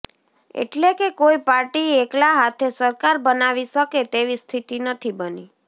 એટલે કે કોઈ પાર્ટી એકલા હાથે સરકાર બનાવી શકે તેવી સ્થિતિ નથી બની